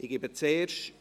Ich gebe zuerst …